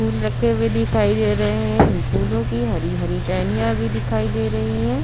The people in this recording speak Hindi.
फूल रखे हुए दिखाई दे रहे हैं। इन फूलों की हरी हरी टहनियाँ भी दिखाई दे रही हैं।